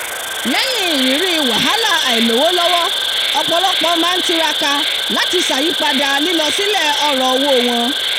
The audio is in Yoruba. lẹ́yìn ìrírí wàhálà àìlówó lọ́wọ́ ọ̀pọ̀lọpọ̀ máa ń tiraka láti ṣàyípadà lílọ sílẹ̀ ọ̀rọ̀ owó wọn